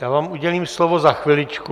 Já vám udělím slovo za chviličku.